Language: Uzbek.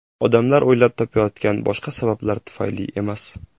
Odamlar o‘ylab topayotgan boshqa sabablar tufayli emas.